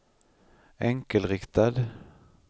enkelriktad